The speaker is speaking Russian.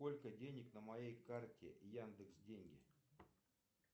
сколько денег на моей карте яндекс деньги